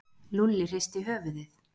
Lúlli hristi höfuðið.